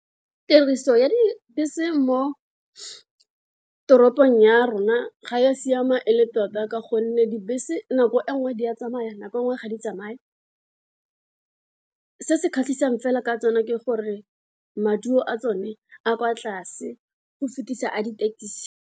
Tiriso ya dibese mo toropong ya rona ga ya siama ele top a ka gonne dibese nako e nngwe di a tsamaya nako e nngwe ga di tsamaya, se se kgatlhisang fela ka tsone ke gore maduo a tsone a kwa tlase go fetisa a di-taxi.